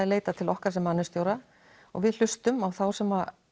leita til okkar mannauðsstjóra og við hlustum á þá sem